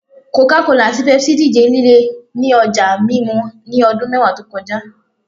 Coca-Cola ati Pepsi dije lile ni ọja mimu asọ ni ọdun mẹwa to kọja